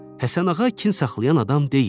Həsənağa kin saxlayan adam deyil.